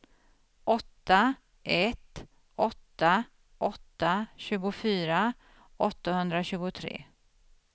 åtta ett åtta åtta tjugofyra åttahundratjugotre